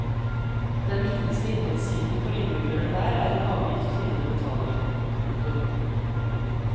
Den viktigste inntektskilden for innbyggerne der er en avgift finnene betaler. punktum